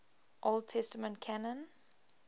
old testament canon